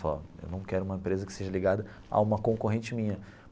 Falou ó, eu não quero uma empresa que seja ligada a uma concorrente minha.